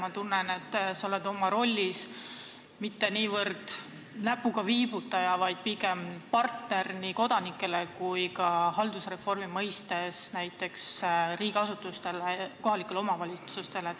Ma tunnen, et sa oled oma rollis mitte niivõrd näpuga viibutaja, kuivõrd pigem partner nii kodanikele kui haldusreformi kontekstis ka riigiasutustele ja kohalikele omavalitsustele.